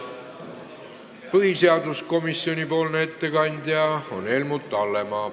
Põhiseaduskomisjoni nimel teeb ettekande Helmut Hallemaa.